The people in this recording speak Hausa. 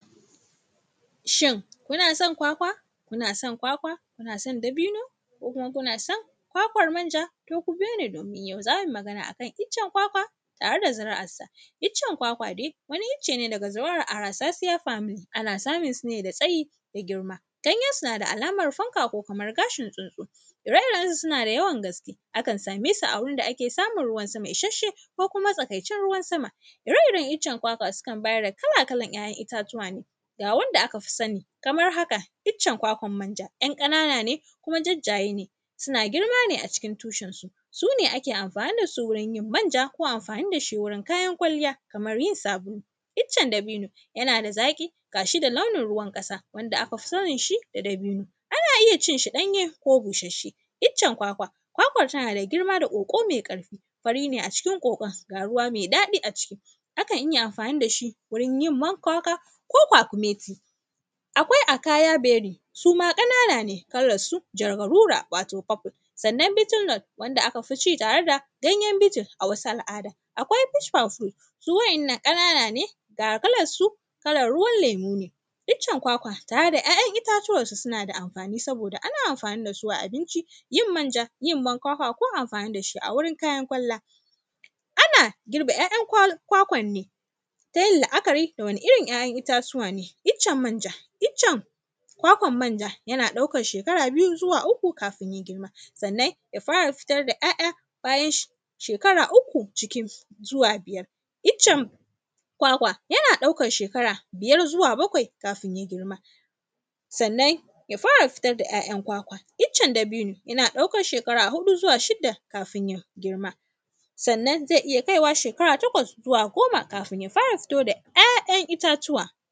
Shin, kuna son kwakwa, kuna son kwakwa, kuna son dabino ko kuma kuna son kwakwar manja? To, ku biyo ni, domin yau za mi magana a kan iccen kwakwa tare da ziri’arsa. Iccen kwakwa de, wani ice ne daga ziri’ar “arasasiya family”, ana samun su ne da tsayi da girma. Ganyensu na da alamar fanka ko kamar gashin tsuntsu, ire-irensu suna da yawan gaske. Akan same su a wurin da ake samun ruwan sama ishasshe ko kuma matsakaicin ruwan sama. Ire-iren icen kwakwa, sukan ba da kala-kalan ‘ya’yan itatuwa ne, ga wanda aka fi sani kamar haka: iccen kwakwar manja, ‘yan ƙanana ne kuma jajjaye ne, suna girma ne a cikin tushensu. Su ne ake amafni da su wurin yin manja, ko amfani da shi wurin kayan kwalliya, kamar yin sabulu. Iccen dabino, yana da zaƙi, ga shi da launin ruwan ƙasa, wanda aka fi sanin shi da dabino. Ana iya cin shi ɗanye ko busasshe. Iccen kwakwa, kwakwa tana da girma da ƙoƙo me ƙarfi. Fari ne a cikin ƙoƙon, ga ruwa me daɗi a ciki, akan iya yin amfani da shi wurin man kwakwa ko kwakumeti. Akwai, “akaya bery”, su ma ƙanana ne, kalarsu jargarura, wato “purple”. Sannan, “beeten rod” wanda aka fi ci tare da ganyen “beeten” a wasu al’ada. Akwai, “push powciles”, su wa’innan, ƙanana ne, ga kalassu, kalan ruwan lemu ne. Iccen kwakwa tare da ‘ya’yan itatuwarsa, suna da amfani saboda ana amfani da su a abinci, yin manja, yin man kwakwa ko amfani da shi a wurin kayan kwalla. Ana girbe ‘ya’yan kwal; kwakwan ne, ta yin la’akari da wane irin ‘ay’ayan itatuwa ne. Iccen manja, iccen kwakwan manja, yana ɗaukar shekara biyu zuwa uku, kafin ya girma. Sanna, ya fara fitar da ‘ya’ya bayan shekara uku cikin zuwa biyar. Iccen kwakwa, yana ɗaukar shekara biyar zuwa bakwai, kafin ya girma, sannan, ya fara fitar da ‘ya’yan kwkwa. Iccen dabino, yana ɗaukar shekara huɗu zuwa shida, kafin ya girma. Sannan, ze iya kai wa shekara takwas zuwa goma, kafin ya fara fito da ‘ya’yan itatuwa.